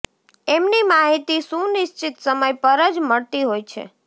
એમની માહિતી સુનિશ્ચિત સમય પર જ મળતી હોય છે